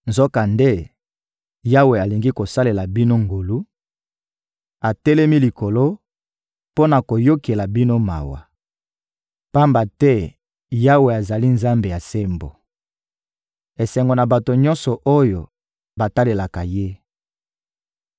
Nzokande, Yawe alingi kosalela bino ngolu, atelemi likolo mpo na koyokela bino mawa. Pamba te Yawe azali Nzambe ya sembo: Esengo na bato nyonso oyo batalelaka Ye!